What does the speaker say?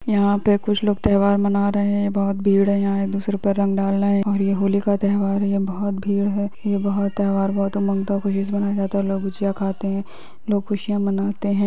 यहाँ पे कुछ लोग त्यौहार मना रहे है बहुत भीड़ है यहाँ एक दूसरे पे रंग डाल रहे है और ये होली का त्यौहार है ये बहुत भीड़ है ये बहुत-त्यौहार बहुत उमंग का खुशी से मनाया जाता है लोग गुजिया खाते है लोग--